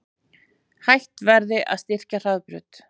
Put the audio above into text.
Hætt verði að styrkja Hraðbraut